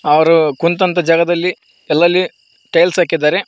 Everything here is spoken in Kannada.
ಅವರು ಕುಂತಂತ ಜಾಗದಲ್ಲಿ ಅಲ್ಲಲ್ಲಿ ಟೈಲ್ಸ್ ಹಾಕಿದ್ದಾರೆ.